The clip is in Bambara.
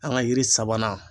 An ka yiri sabanan.